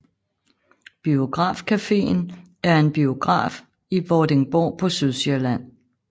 Biograf Caféen er en biograf i Vordingborg på Sydsjælland